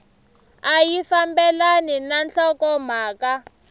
a yi fambelani na nhlokomhaka